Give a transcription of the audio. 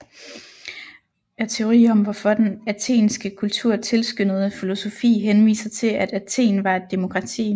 Er teori om hvorfor den athenske kultur tilskyndede filosofi henviser til at Athen var et demokrati